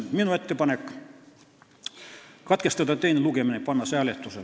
Minu ettepanek on katkestada teine lugemine ja panna see eelnõu hääletusele.